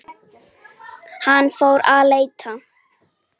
Hann fór að leita.